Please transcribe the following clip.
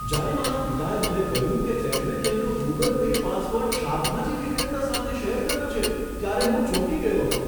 જ્યારે મારા પિતાએ મને કહ્યું કે તેમણે તેમનો ગૂગલ પે પાસવર્ડ શાકભાજી વિક્રેતા સાથે શેર કર્યો છે ત્યારે હું ચોંકી ગયો હતો.